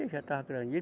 Ele já estava